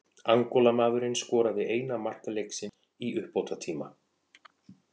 Angólamaðurinn skoraði eina mark leiksins í uppbótartíma.